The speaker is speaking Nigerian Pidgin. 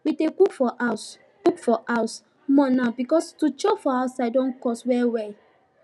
we dey cook for house cook for house more now because to chop for outside don too cost well well